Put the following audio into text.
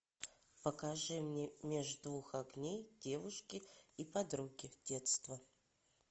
покажи мне меж двух огней девушки и подруги детства